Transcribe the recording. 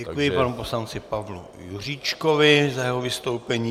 Děkuji panu poslanci Pavlu Juříčkovi za jeho vystoupení.